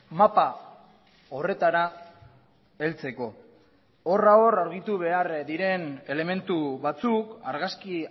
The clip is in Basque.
mapa horretara heltzeko horra hor argitu behar diren elementu batzuk argazki